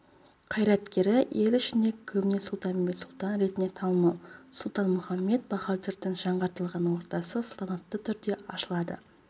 қайраткері ел ішінде көбіне сұлтанбет сұлтан ретінде танымал сұлтанмұхамед бахадүрдің жаңғыртылған ордасы салтанатты түрде ашылады